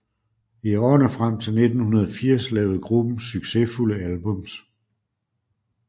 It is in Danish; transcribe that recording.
I årene frem til 1980 lavede gruppen succesfulde albums